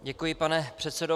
Děkuji, pane předsedo.